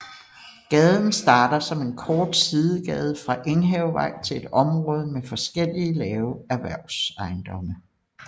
Gaden starter som en kort sidegade fra Enghavevej til et område med forskellige lave erhvervsejendomme